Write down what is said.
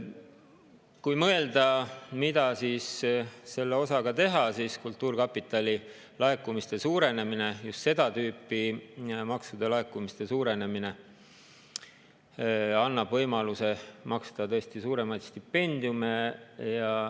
Kui mõelda, mida selle osaga teha, siis kultuurkapitali laekumiste suurenemine, just seda tüüpi maksude laekumiste suurenemine, annab võimaluse maksta tõesti suuremaid stipendiume.